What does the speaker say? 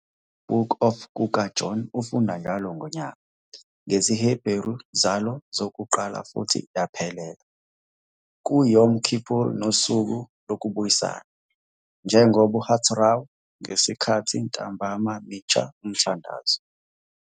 I-Book of kukaJona ufunde njalo ngonyaka, ngesiHebheru zalo zokuqala futhi yaphelela, ku Yom Kippur - noSuku Lokubuyisana, njengoba Haftarah ngesikhathi ntambama mincha umthandazo.